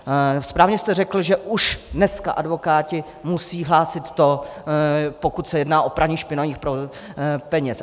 Správně jste řekl, že už dneska advokáti musí hlásit to, pokud se jedná o praní špinavých peněz.